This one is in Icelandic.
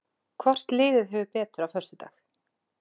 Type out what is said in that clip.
Hvort liðið hefur betur á föstudag?